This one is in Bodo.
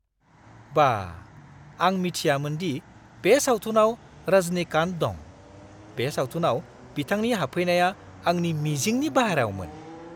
बाह! आं मिथियामोन दि बे सावथुनाव रजनीकान्त दं। बे सावथुनाव बिथांनि हाबफैनाया आंनि मिजिंनि बायह्रायावमोन!